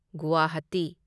Guwahati